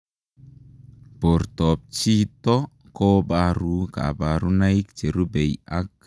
Portoop chitoo kobaruu kabarunaik cherubei ak